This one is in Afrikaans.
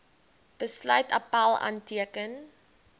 besluit appèl aanteken